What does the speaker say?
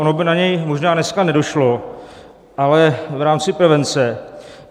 Ono by na něj možná dneska nedošlo, ale v rámci prevence.